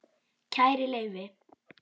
Kæri Leifi